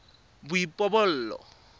boipobolo